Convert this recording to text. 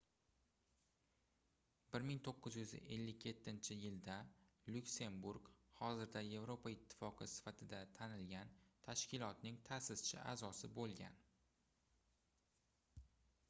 1957-yilda lyuksemburg hozirda yevropa ittifoqi sifatida tanilgan tashkilotning taʼsischi aʼzosi boʻlgan